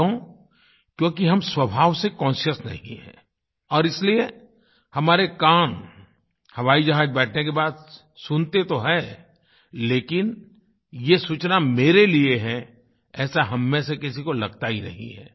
क्यों क्योंकि हम स्वभाव से कॉन्शियस नहीं हैं और इसलिए हमारे कान हवाई जहाज बैठने के बाद सुनते तो हैं लेकिन ये सूचना मेरे लिए है ऐसा हममें से किसी को लगता ही नहीं है